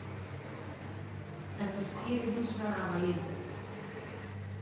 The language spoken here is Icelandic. Þetta skýrir hins vegar afar lítið.